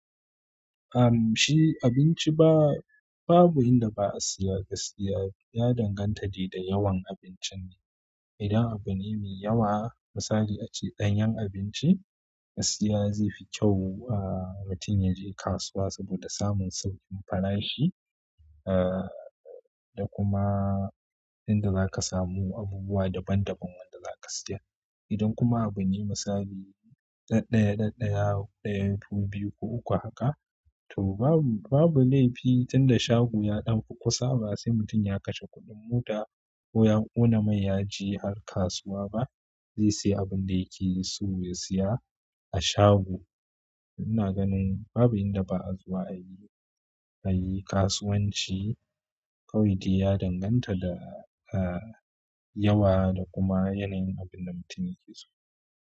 Ahm shi abinci ba, babu inda ba a siya gaskiya. Ya danganta de yawan abincin ne. Idan abu ne me yawa misali ace ɗanyan abinci gaskiya zefi kyau aa mutum yaje kasuwa saboda samun sauƙin farashi aa da kuma inda zaka samu abubuwa daban daban wanda zaka siya. Idan kuma abu ne misali ɗaddaya, ɗaddaya, ɗaya, biyu ko uku haka to babu, babu laifi tinda shago ya ɗauka kusa basai mutum ya kashe kuɗin mota ko yan ƙuna mai yaje har kasuwa ba. Zai siya abun da yake so ya siya a shago. Ina ganin babu inda ba a zuwa ayi, ayi kasuwanci. Kawai dai ya danganta da aa yawa da kuma yanayin abin da mutum yake so.